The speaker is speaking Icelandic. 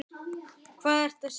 Hvað ertu að segja?